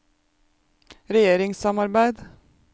regjeringssamarbeid